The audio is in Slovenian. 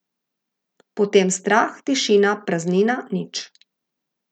Potem strah, tišina, praznina, nič.